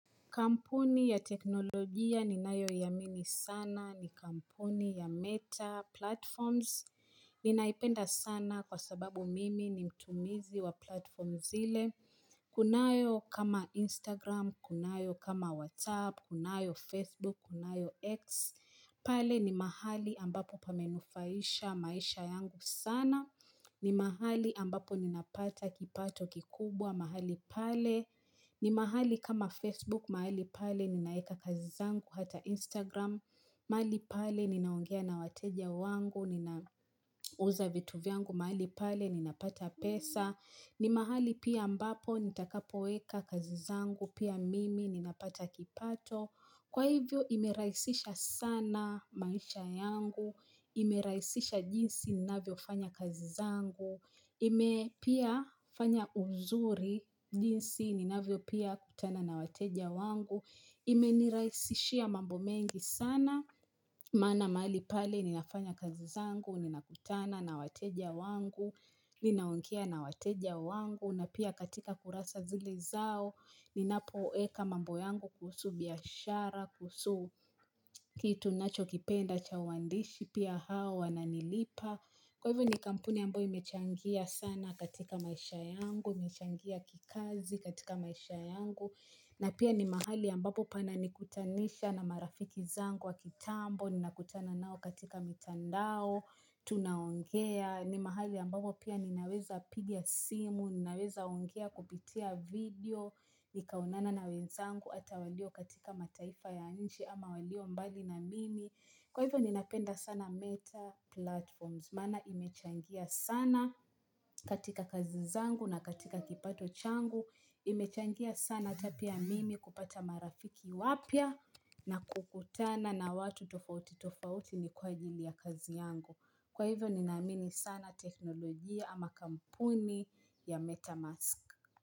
Kampuni ya teknolojia ni nayo iamini sana ni kampuni ya meta platforms. Ninaipenda sana kwa sababu mimi ni mtumizi wa platforms zile. Kunayo kama Instagram, kunayo kama WhatsApp, kunayo Facebook, kunayo X. Pale ni mahali ambapo pamenifurahisha maisha yangu sana. Ni mahali ambapo ninapata kipato kikubwa. Mahali pale, ni mahali kama Facebook, mahali pale ninaeka kazizangu, hata Instagram, mahali pale ninaongea na wateja wangu, ninauza vitu vyangu, mahali pale ninapata pesa, ni mahali pia ambapo, nitakapo weka kazizangu, pia mimi, ninapata kipato, kwa hivyo ime rahisisha sana maisha yangu, ime rahisisha jinsi, ninavyo fanya kazizangu, ime pia fanya uzuri jinsi ninavyo pia kutana na wateja wangu Imeniraisishia mambo mengi sana Maana mahali pale ninafanya kazizangu Ninakutana na wateja wangu Ninaongea na wateja wangu na pia katika kurasa zile zao Ninapo eka mambo yangu kuhusu biashara kuhusu kitu nacho kipenda chawandishi Pia hawa wa nalipa Kwa hivyo ni kampuni ambayo imechangia sana katika maisha yangu, imechangia kikazi katika maisha yangu na pia ni mahali ambapo pana nikutanisha na marafiki zangu wa kitambo, nina kutana nao katika mitandao tunaongea, ni mahali ambapo pia ninaweza piga simu ninaweza ongea kupitia video, nikaonana na wezangu ata walio katika mataifa ya nje ama walio mbali na mimi kwa hivyo ninapenda sana meta platforms Mana imechangia sana katika kazizangu na katika kipato changu Imechangia sana hatapia mimi kupata marafiki wapya na kukutana na watu tofauti tofauti ni kwa ajili ya kazi yangu Kwa hivyo ninamini sana teknolojia ama kampuni ya MetaMask.